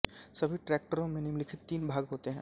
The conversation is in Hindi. सभी ट्रैक्टरों में निम्नलिखित तीन भाग होते हैं